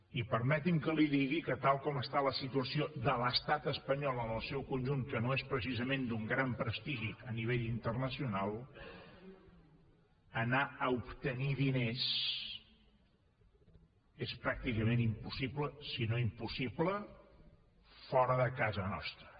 i permeti’m que li digui que tal com està la situació de l’estat espanyol en el seu conjunt que no és precisament d’un gran prestigi a nivell internacional anar a obtenir diners és pràcticament impossible si no impossible fora de casa nostra